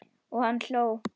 Og hann hló.